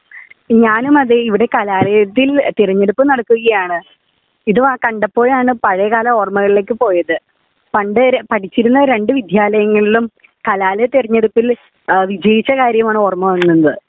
ഞാനും അതേ ഇവിടെ കലാലയത്തിൽ തിരഞ്ഞെടുപ്പ് നടക്കുകയാണ് . ഇത് കണ്ടപ്പോഴാണ് പഴയ കാല ഓർമകളിലേക്ക് പോയത് . പണ്ട് പടിച്ചിരുന്ന രണ്ടു വിദ്യാലയങ്ങളിലും കലാലയ തിരഞ്ഞെടുപ്പിൽ വിജയിച്ച കാര്യമാണ് ഓര്മ വന്നത്